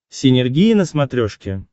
синергия на смотрешке